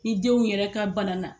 Ni denw yɛrɛ ka bana na